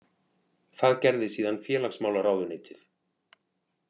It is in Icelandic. Það gerði síðan félagsmálaráðuneytið